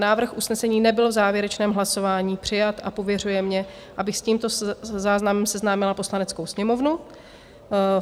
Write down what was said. Návrh usnesení nebyl v závěrečném hlasování přijat a pověřuje mě, abych s tímto záznamem seznámila Poslaneckou sněmovnu.